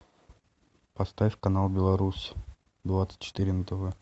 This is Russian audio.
поставь канал беларусь двадцать четыре на тв